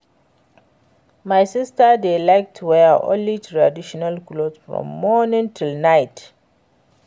My sister dey like to wear only traditional cloth from morning till night